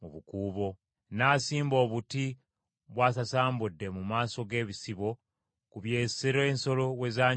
N’asimba obuti bw’asasambudde mu maaso g’ebisibo ku by’esero ensolo we zanyweranga.